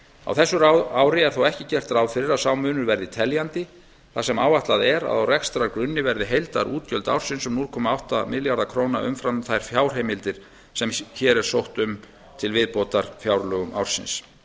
á þessu ári er þó ekki gert ráð fyrir að sá munur verði teljandi þar sem áætlað er að á rekstrargrunni verði heildarútgjöld ársins um núll komma átta milljarða króna umfram þær fjárheimildir sem hér er sótt um til viðbótar fjárlögum ársins